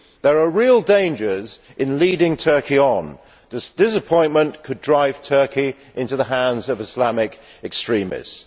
There are real dangers in leading Turkey on. Disappointment could drive Turkey into the hands of Islamic extremists.